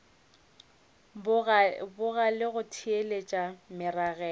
boga le go theeletša meragelo